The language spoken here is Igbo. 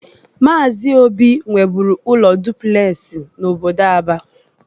Maazi Obi nweburu ụlọ duplesi n'obodo Aba.